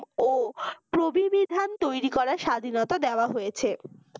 ও প্রবিবিধান তৈরি করার স্বাধীনতা দেওয়া হইছে